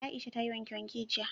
Aisha ta yi wanke-wanke jiya